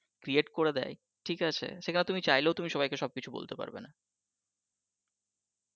create করে দেয় ঠিক আছে সেখানে তুমি চাইলেও তুমি সবাইকে সব কিছু বলতো পারবে না।